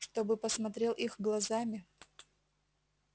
чтобы посмотрел их глазами